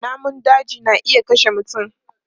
Namun daji na iya kashe mutum.